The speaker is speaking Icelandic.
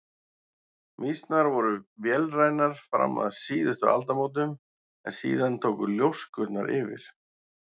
Mýsnar voru vélrænar fram að síðustu aldamótum en síðan tóku ljóskurnar yfir.